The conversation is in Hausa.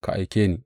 Ka aike ni!